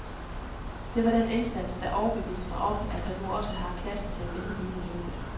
Det var den indsats, der overbeviste mig om, at han nu også har klassen til at vinde hele løbet.